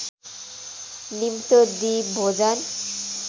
निम्तो दिई भोजन